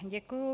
Děkuji.